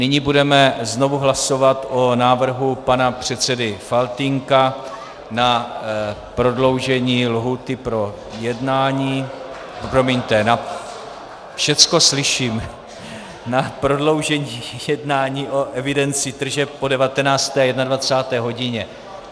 Nyní budeme znovu hlasovat o návrhu pana předsedy Faltýnka na prodloužení lhůty pro jednání, promiňte, všecko slyším, na prodloužení jednání o evidenci tržeb po 19. a 21. hodině.